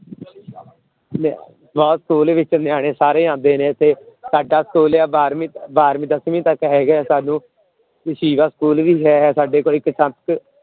ਲੈ ਬਹੁਤ school ਵਿੱਚ ਨਿਆਣੇ ਸਾਰੇ ਆਉਂਦੇ ਨੇ ਇੱਥੇ, ਸਾਡਾ school ਹੈ ਬਾਰਵੀਂ ਬਾਰਵੀਂ ਦਸਵੀਂ ਤੱਕ ਹੈਗਾ ਹੈ ਸਾਨੂੰ school ਵੀ ਹੈਗਾ ਸਾਡੇ ਕੋਲ ਇੱਕ